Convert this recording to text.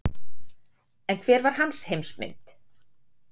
En hver var hans heimsmynd?